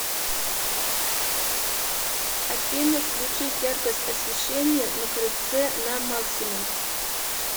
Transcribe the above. афина включить яркость освещения на крыльце на максимум